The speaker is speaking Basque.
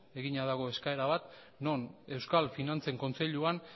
egina dago eskaera bat non euskal finantzen kontseiluan